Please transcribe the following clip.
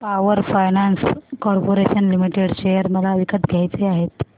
power finance corporation limited share मला विकत घ्यायचे आहेत